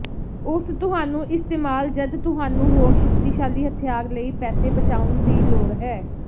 ਉਸ ਤੁਹਾਨੂੰ ਇਸਤੇਮਾਲ ਜਦ ਤੁਹਾਨੂੰ ਹੋਰ ਸ਼ਕਤੀਸ਼ਾਲੀ ਹਥਿਆਰ ਲਈ ਪੈਸੇ ਬਚਾਉਣ ਦੀ ਲੋੜ ਹੈ